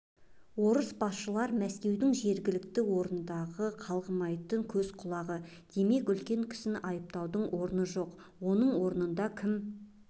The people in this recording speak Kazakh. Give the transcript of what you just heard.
орыс басшылар мәскеудің жергілікті орындағы қалғымайтын көз-құлағы демек үлкен кісіні айыптаудың орны жоқ оның орнында кім